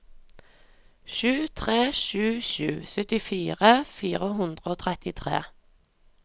sju tre sju sju syttifire fire hundre og trettitre